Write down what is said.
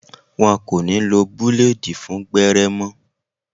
Wọn kò ní lo búlèèdì fún gbẹ́rẹ́ mọ́